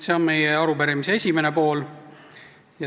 See on meie arupärimise esimene pool.